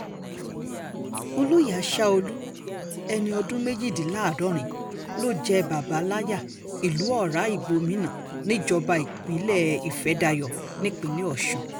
olóyè aṣáọ̀lù ẹni ọdún méjìléláàádọ́rin ló jẹ́ bàbàláyà ìlú ọ̀rá ìgbómìnà níjọba ìbílẹ̀ ifedayo nípínlẹ̀ ọ̀sùn